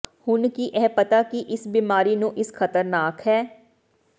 ਹੁਣ ਕੀ ਇਹ ਪਤਾ ਕਿ ਇਸ ਬਿਮਾਰੀ ਨੂੰ ਇਸ ਖਤਰਨਾਕ ਹੈ